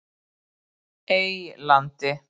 Eylandi